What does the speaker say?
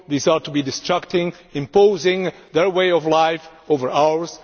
These are meant to be destructive, by imposing their way of life over ours.